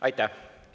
Aitäh!